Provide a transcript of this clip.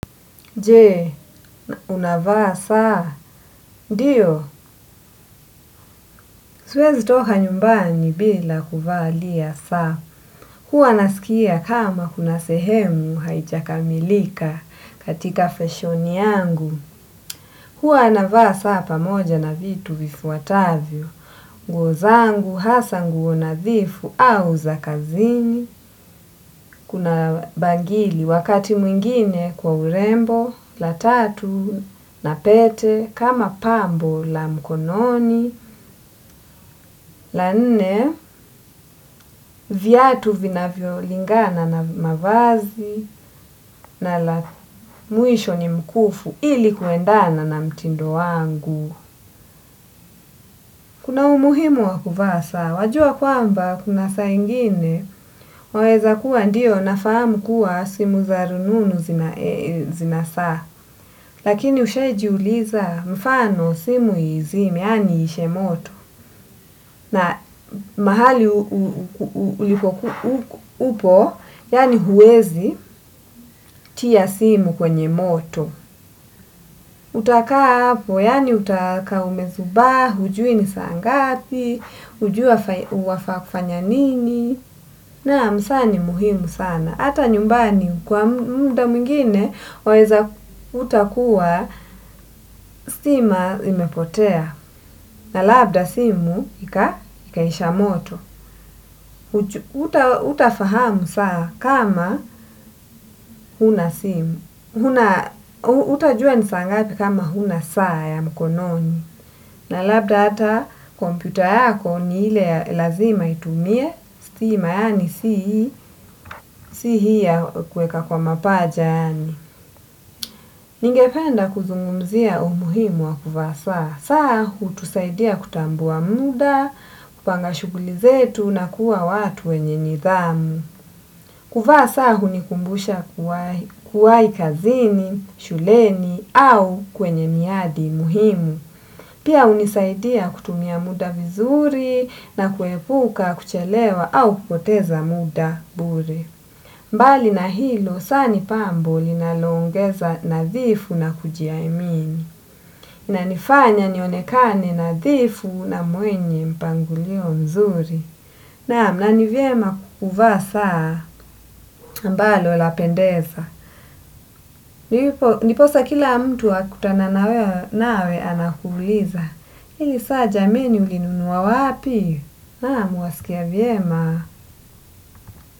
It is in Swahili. Je, unavaa saa, ndiyo, siwezi toka nyumbani bila kuvalia saa, huwa nasikia kama kuna sehemu haijakamilika katika fashoni yangu, huwa navaa saa pamoja na vitu vifuatavyo. Nguo zangu hasa nguo nadhifu au za kazini, kuna bangili wakati mwingine kwa urembo, la tatu, na pete, kama pambo la mkononi, la nne viatu vinavyo lingana na mavazi na la mwisho ni mkufu ili kuendana na mtindo wangu. Kuna umuhimu wa kuvaa saa wajua kwamba kuna saa ingine waweza kuwa ndiyo nafahamu kuwa simu za rununu zinasaa. Lakini ushai jiuliza mfano simu izime yaani iishe moto. Na mahali upo yaani huwezi tia simu kwenye moto. Uta kaa hapo yaani utakaa umezubaa hujui ni saa ngapi hujui wafaa kufanya nini naam, saa ni muhimu sana. Hata nyumbani kwa muda mwingine waweza kuta kuwa stima imepotea. Na labda simu ikaisha moto. Hutafahamu saa kama huna simu hutajua ni saa ngapi kama huna saa ya mkononi. Na labda hata kompyuta yako ni ile lazima itumie stima yaani si hii ya kuweka kwa mapaja yani. Ningependa kuzungumzia umuhimu wa kuvaa saa. Saa hutusaidia kutambua muda, kupanga shughuli zetu na kuwa watu wenye nidhamu. Kuvaa saa hunikumbusha kuwahi kazini shuleni au kwenye miadi muhimu. Pia hunisaidia kutumia muda vizuri na kuepuka kuchelewa au kupoteza muda bure. Mbali na hilo, saa ni pambo linaloongeza nadhifu na kujiaimini. Na nifanya nionekane nadhifu na mwenye mpangilio mzuri. Naam, na ni vyema kuvaa saa ambalo lapendeza. Ndiposa kila mtu akutana nawe anakuuliza. Hii saa jameni ulinunua wapi naam waskia vyema.